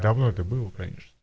давно это было конечно